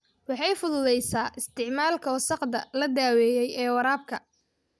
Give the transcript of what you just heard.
Waxay fududaysaa isticmaalka wasakhda la daweeyay ee waraabka.